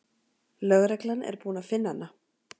Lögreglan er búin að finna hana.